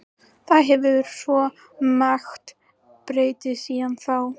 Það hefur svo margt breyst síðan þá.